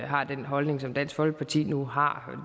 har den holdning som dansk folkeparti nu har